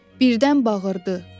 Birdən bağırdı: